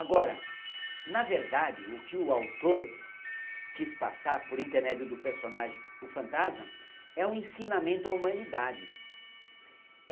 Agora, na verdade, o que o autor quis passar por intermédio do personagem, o fantasma, é um ensinamento à humanidade.